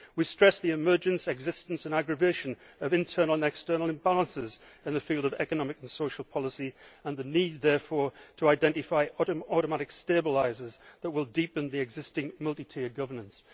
We stress the emergence, existence and aggravation of internal and external imbalances in the field of economic and social policy and the need therefore to identify automatic stabilisers that will deepen the existing multi tier governance.